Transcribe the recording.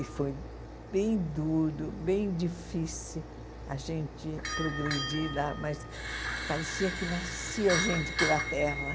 E foi bem duro, bem difícil a gente progredir lá, mas parecia que nascia gente pela terra.